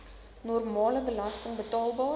normale belasting betaalbaar